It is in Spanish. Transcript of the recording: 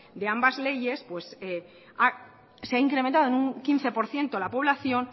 de ambas leyes se ha incrementado en un quince por ciento la población